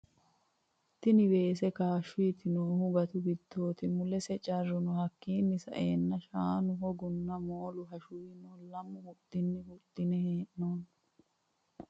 Tini weese kaashoti noohu gatu giddoti mulese carru no hakiino sa'eena Shamu hoggona moolu hashuwi no leemu huxini huxine heenonni.